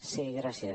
sí gràcies